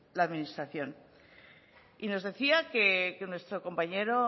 la administración y nos decía que nuestro compañero